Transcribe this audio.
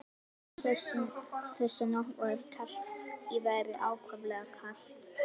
Þessa nótt var kalt í veðri, ákaflega kalt.